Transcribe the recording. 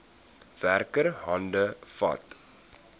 werker hande vat